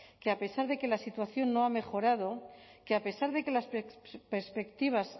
que a pesar de que la situación no ha mejorado que a pesar de que las perspectivas